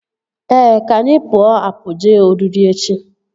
Ee, ka anyị pụọ apụ jee oriri echi